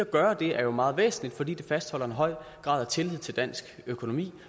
gøre det er jo meget væsentligt fordi det fastholder en høj grad af tillid til dansk økonomi